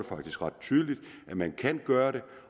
faktisk ret tydeligt at man kan gøre det